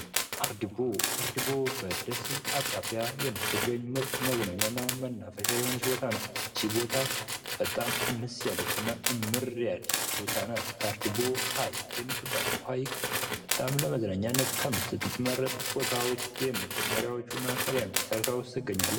አርዲቦ አርዲቦ በደሴ አቅራቢያ የምትገኝ ምርጥ መዝናኛና መናፈሻ የሆነች ቦታ ናት። ይቺ ቦታ በጣም እንስ ያለችና እምር ያለች ቦታ ናት። አርዲቦ ሀይቅ የምትባለው ሀይቅ በጣም ለመዝናኛነት ከምትመረጥ ቦታዎች የመጀመርያዎቹና ቀዳሚዎች ተርታ ውስጥ ትገኛለች።